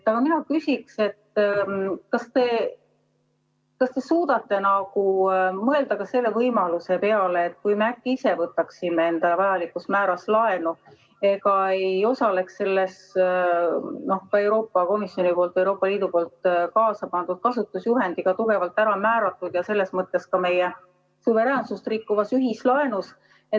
Aga mina küsin, kas te suudate mõelda ka selle võimaluse peale, kui me äkki ise võtaksime endale vajalikus määras laenu ega osaleks selles Euroopa Komisjoni poolt, Euroopa Liidu poolt kaasapandud kasutusjuhendiga tugevalt ära määratud ja selles mõttes ka meie suveräänsust rikkuvas ühislaenus.